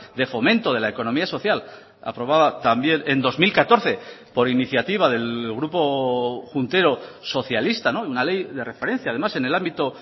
de fomento de la economía social aprobada también en dos mil catorce por iniciativa del grupo juntero socialista una ley de referencia además en el ámbito